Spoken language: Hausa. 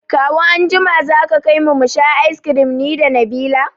Kawu anjima za ka kaimu musha ice kirim nida Nabila